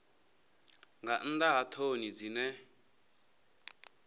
nga nnḓa ha ṱhoni dzine